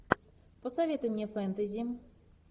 посоветуй мне фэнтези